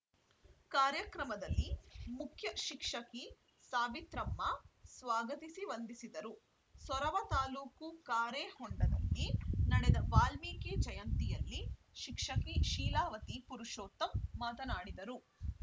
ಕಾರ್ಯಕ್ರಮದಲ್ಲಿ ಮುಖ್ಯಶಿಕ್ಷಕಿ ಸಾವಿತ್ರಮ್ಮ ಸ್ವಾಗತಿಸಿ ವಂದಿಸಿದರು ಸೊರಬ ತಾಲೂಕು ಕಾರೆಹೊಂಡದಲ್ಲಿ ನಡೆದ ವಾಲ್ಮೀಕಿ ಜಯಂತಿಯಲ್ಲಿ ಶಿಕ್ಷಕಿ ಶೀಲಾವತಿ ಪುರುಷೋತ್ತಮ್‌ ಮಾತನಾಡಿದರು